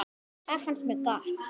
Það fannst mér gott.